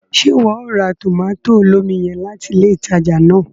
Ṣe iwọ o ra tomato olómi yen latí ilé ìtàjà náà?